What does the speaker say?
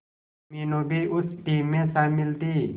मीनू भी उस टीम में शामिल थी